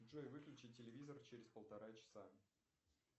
джой выключи телевизор через полтора часа